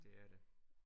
Det er det